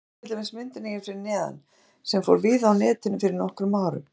Skoðið til dæmis myndina hér fyrir neðan sem fór víða á Netinu fyrir nokkrum árum.